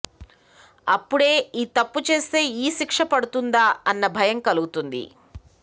అప్పుడే ఈ తప్పు చేస్తే ఈ శిక్ష పడుతుందా అన్న భయం కలుగుతుంది